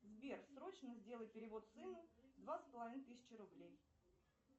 сбер срочно сделай перевод сыну два с половиной тысячи рублей